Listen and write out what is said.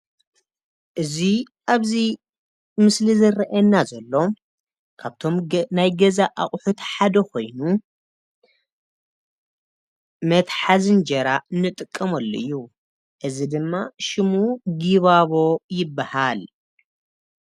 እዚ ኣብዚ ምስሊ ዝረኣየና ዘሎ ካብቶም ናይ ገዛ ኣቁሑት ሓደ ኮይኑ መትሓዚ እንጀራ ንጥቀመሉ እዩ እዚ ድማ ሽሙ ጊባቦ ይበሃል።